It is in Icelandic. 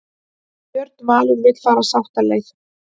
Björn Valur vill fara sáttaleið